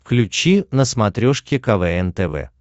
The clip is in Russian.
включи на смотрешке квн тв